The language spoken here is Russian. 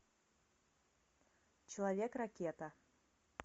человек ракета